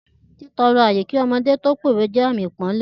Títọrọ ààyè kí ọmọdé tó pówe jẹ́ àmì ipọ́nle